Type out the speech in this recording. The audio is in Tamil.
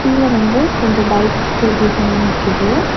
கீழ வந்து கொஞ்சோ பைக்ஸ் ஸ்கூட்டிஸ்லா நிக்குது.